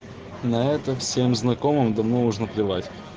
на это всем знакомым давно уже наплевать